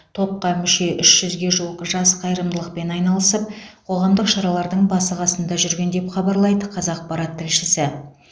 топқа мүше үш жүзге жуық жас қайырымдылықпен айналысып қоғамдық шаралардың басы қасында жүрген деп хабарлайды қазақпарат тілшісі